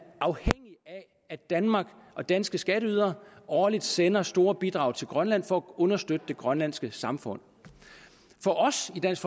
at danmark og danske skatteydere årligt sender store bidrag til grønland for at understøtte det grønlandske samfund for os i dansk